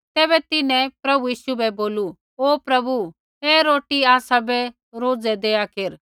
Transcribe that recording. तैबै तिन्हैं प्रभु यीशु बै बोलू ओ प्रभु ऐ रोटी आसाबै रोजै देआ केरा